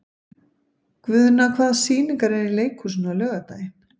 Guðna, hvaða sýningar eru í leikhúsinu á laugardaginn?